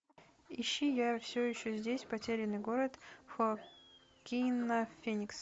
ищи я все еще здесь потерянный год хоакина феникса